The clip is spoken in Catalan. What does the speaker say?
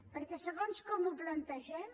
perquè segons com ho plantegem